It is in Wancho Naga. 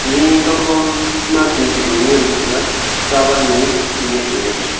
le kakho ma maki polloi ngan taga kaba nyi nyak la ngan taga.